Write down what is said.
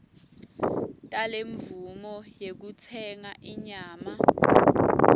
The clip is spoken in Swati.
talemvumo yekutsenga inyama